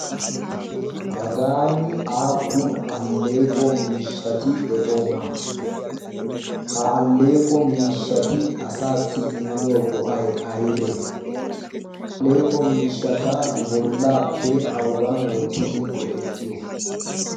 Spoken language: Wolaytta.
Hagaani appun alleqo miishshatti de'iyona? Ha alleeqqo miishshatti asaasi immiyo go'ay aybe? Ha alleeqqo miishshatta nu bollappe awugan wottidi go'ettiyo?